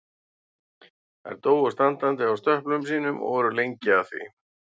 Þær dóu standandi á stöplum sínum og voru lengi að því.